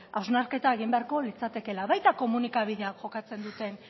hausnarketa egin beharko litzatekeela baita komunikabideek jokatzen duten